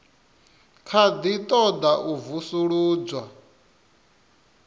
kha ḓi ṱoḓa u vusuludzwa